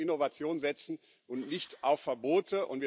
Wir sollten auf Innovation setzen und nicht auf Verbote.